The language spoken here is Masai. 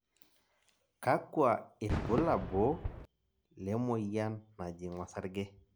kakua irbulabo le moyian najing osarge?